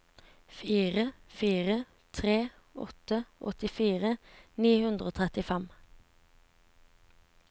fire fire tre åtte åttifire ni hundre og trettifem